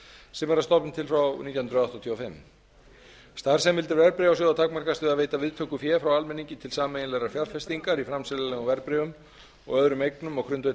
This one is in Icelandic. sem er að stofni til frá nítján hundruð áttatíu og fimm starfsheimildir verðbréfasjóða takmarkast við að veita viðtöku fé frá almenningi til sameiginlegrar fjárfestingar í framseljanlegum verðbréfum og öðrum eignum á grundvelli